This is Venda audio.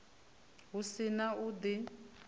hu si na u di